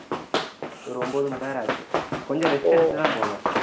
ஒரு ஒன்பது மணி நேரம் ஆச்சு கொஞ்சம் rest எடுத்து தான் போனோம்